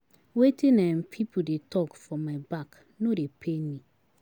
Wetin um pipu dey talk for my back no dey pain me.